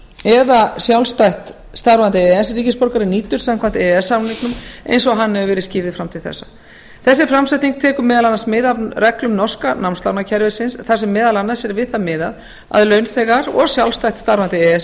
eða sjálfstætt starfandi e e s ríkisborgari nýtur samkvæmt e e s samninginum eins og hann hefur verið skýrður fram til þessa þessi framsetning tekur meðal annars mið af reglum norska námslánakerfisins þar sem meðal annars er við það miðað að launþegar og sjálfstætt starfandi e e s